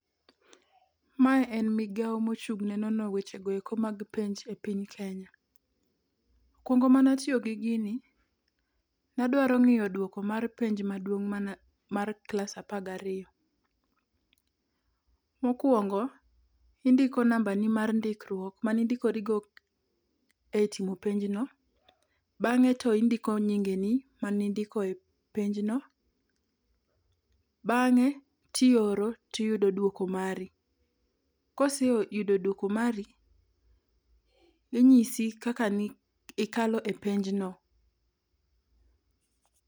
Mae en migawo mochung' ne nono weche go eko mag penj e piny Kenya . Kinde mana tiyo gi gini ne adwaro ng'iyo duoko mar penj maduong' mana mar klas apar gariyo . Mokwongo indiko namba ni mar ndikruok mane ondikorigo e timo penjno bang'e to indiko nyinge ni mane indiko e penjno, bang'e tioro tiyudo duoko mari. Kiseyudo duoko mari, inyisi kaka nikalo e penj no